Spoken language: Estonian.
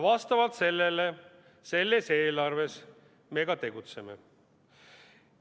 Vastavalt sellele me selles eelarves ka tegutseme.